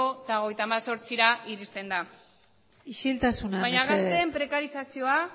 hogeita hemezortzira iristen da isiltasuna mesedez baina gazteen prekarizazioa